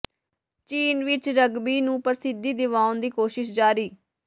ਚੀਨ ਵਿਚ ਰਗਬੀ ਨੂੰ ਪ੍ਰਸਿੱਧੀ ਦਿਵਾਉਣ ਦੀ ਕੋਸ਼ਿਸ਼ ਜਾਰੀ